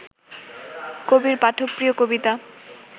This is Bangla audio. কবির পাঠক-প্রিয় কবিতা